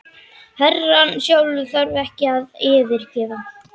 Herrann sjálfur þarf ekkert að fyrirgefa.